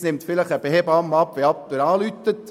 Heute nimmt vielleicht eine Hebamme den Anruf entgegen.